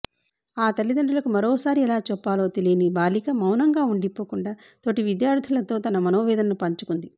ఆ తల్లిదండ్రులకు మరోసారి ఎలా చెప్పాలో తెలి యని బాలిక మౌనంగా ఉండిపోకుండా తోటి విద్యార్థులతో తన మనోవేదనను పంచుకుంది